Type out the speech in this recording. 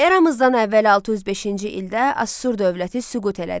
Eramızdan əvvəl 605-ci ildə Asur dövləti süqut elədi.